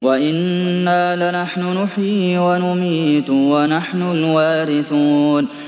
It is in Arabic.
وَإِنَّا لَنَحْنُ نُحْيِي وَنُمِيتُ وَنَحْنُ الْوَارِثُونَ